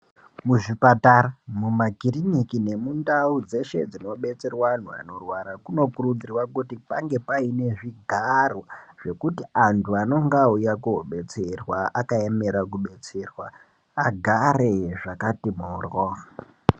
Mizvipatara, mumakiriniki nemundawu dzeshe dzinodetsere vanhu vanorwara, kunokurudzirwa kuti pange payine zvigaro zvekuti antu anenge awuyako kuzvodetserwa akayemera kudetserwa agare zvakati moro.